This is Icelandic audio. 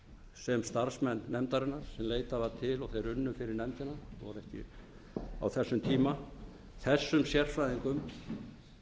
sem starfsmenn nefndarinnar sem leitað var til og þeir unnu fyrir nefndina voru ekki á þessum tíma þessum sérfræðingum